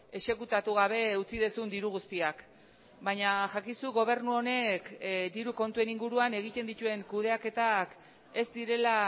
exekutatu gabe utzi duzun diru guztiak baina jakizu gobernu honek diru kontuen inguruan egiten dituen kudeaketak ez direla